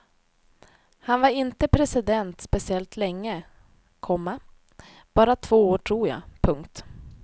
Han var inte president speciellt länge, komma bara två år tror jag. punkt